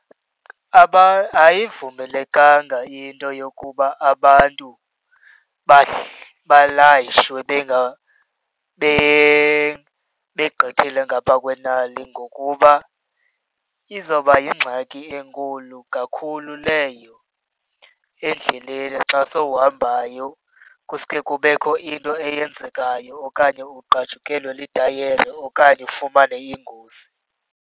Ayivumelekanga into yokuba abantu balayishe begqithile ngaphaa kwenani ngokuba izawuba yingxaki enkulu kakhulu leyo endleleni xa sowuhambayo. Kusuke kubekho into eyenzekayo okanye ugqajukelwe litayara okanye ufumane ingozi.